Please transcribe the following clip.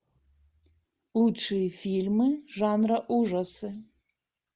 лучшие фильмы жанра ужасы